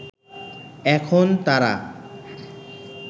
এখন তারা